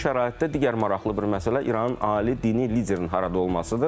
Bu şəraitdə digər maraqlı bir məsələ İranın ali dini liderinin harada olmasıdır.